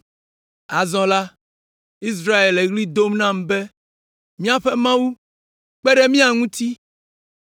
Azɔ la, Israel le ɣli dom nam be, ‘Míaƒe Mawu, kpe ɖe mía ŋuti!’